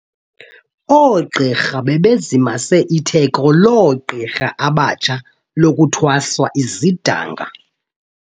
Ooqirha bebezimase itheko loogqirha abatsha lokuthweswa izidanga.